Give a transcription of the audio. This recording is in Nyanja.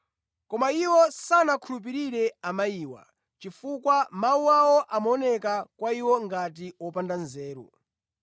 Koma iwo sanawakhulupirire amayiwa, chifukwa mawu awo amaoneka kwa iwo ngati opanda nzeru.